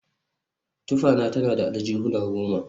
Tufana tana da aljihuna goma